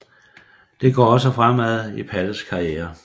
Det går også fremad i Palles karriere